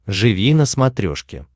живи на смотрешке